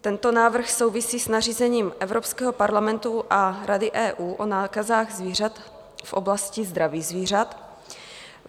Tento návrh souvisí s nařízením Evropského parlamentu a Rady EU o nákazách zvířat v oblasti zdraví zvířat.